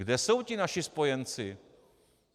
Kde jsou ti naši spojenci?